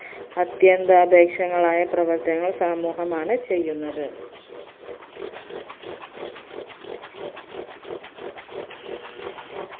അത്യന്താപേക്ഷങ്ങളായ പ്രവർത്തങ്ങൾ സമൂഹമാണ് ചെയ്യുന്നത്